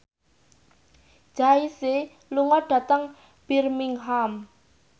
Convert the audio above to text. Jay Z lunga dhateng Birmingham